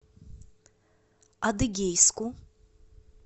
адыгейску